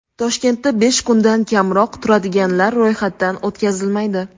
Toshkentda besh kundan kamroq turadiganlar ro‘yxatdan o‘tkazilmaydi.